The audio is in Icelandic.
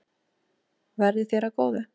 Verði þér að góðu.